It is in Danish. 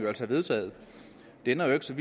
altså vedtaget det ændrer ikke så